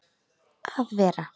að vera.